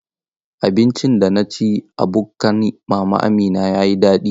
Abincin da na ci a bukkan Mama Amina ya yi daɗi.